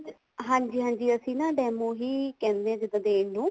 ਹਾਂਜੀ ਹਾਂਜੀ ਅਸੀਂ demo ਹੀ ਕਹਿੰਦੇ ਹਾਂ ਜਿੱਦਾਂ ਦੇਣ ਨੂੰ